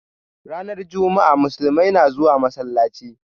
Ranar jama'a, musulmai na zuwa masallaci